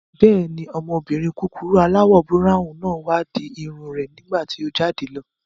Bẹ́ẹ̀ni, ọmọbìnrin kúkurú aláwọ̀ búráwùn náà wá di irun rẹ̀ nígbàtí o jáde lọ